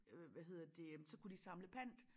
Øh hvad hedder det jamen så kunne de samle pant